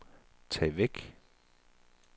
tag væk